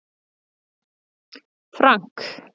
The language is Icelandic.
Frank